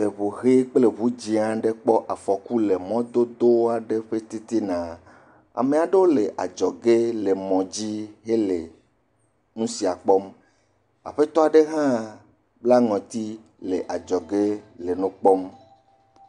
Eŋu ʋi kple ŋu dzɛ aɖe kpɔ afɔku le mɔdodo aɖe ƒe titina. Ame aɖewo le adzɔge le nusia kpɔm. aƒetɔ aɖe le ŋɔti le adzɔge le nu kpɔm.